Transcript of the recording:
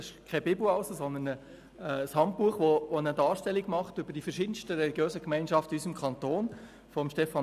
Es ist keine Bibel, sondern ein Handbuch von Stefan Rademacher, das die verschiedensten religiösen Gemeinschaften in unserem Kanton darstellt.